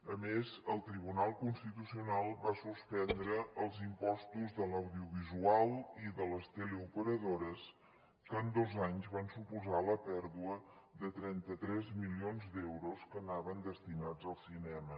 a més el tribunal constitucional va suspendre els impostos de l’audiovisual i de les teleoperadores que en dos anys van suposar la pèrdua de trenta tres milions d’euros que anaven destinats al cinema